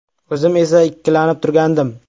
O‘zim esa ikkilanib turgandim.